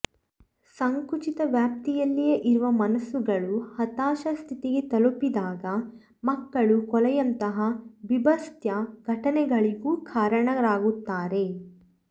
ಸಂಕುಚಿತ ವ್ಯಾಪ್ತಿಯಲ್ಲಿಯೇ ಇರುವ ಮನಸ್ಸುಗಳು ಹತಾಶ ಸ್ಥಿತಿಗೆ ತಲುಪಿದಾಗ ಮಕ್ಕಳ ಕೊಲೆಯಂತಹ ಭೀಭತ್ಸ ಘಟನೆಗಳಿಗೂ ಕಾರಣರಾಗುತ್ತಾರೆ